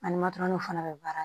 Ani matɔrɔniw fana bɛ baara